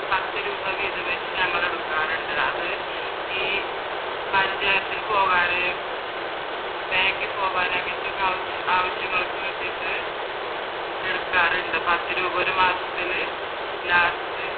പത്ത് രൂപ വീതം വെച്ച് ഞങ്ങൾ എടുക്കാറുണ്ട് അത് ഈ പഞ്ചായത്തിൽ പോകാതെ ബാങ്കിൽ പോകാൻ അങ്ങനത്തെയൊക്കെ ആവിശ്യങ്ങൾക്ക് വേണ്ടിട്ട് എടുക്കാറുണ്ട് പത്ത് രൂപ വെച്ച് ഒരു മാസത്തിൽ